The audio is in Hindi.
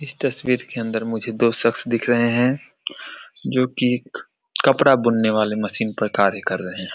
इस तस्वीर के अंदर मुझे दो शख्स दिख रहे हैं जो की एक कपड़ा बुनने वाले मशीन पर कार्य कर रहे --